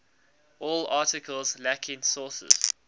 all articles lacking sources